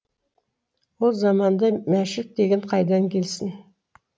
ол заманда мәшік деген қайдан келсін